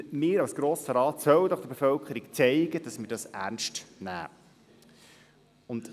Wir als Grosser Rat sollen der Bevölkerung doch zeigen, dass wir dies ernst nehmen.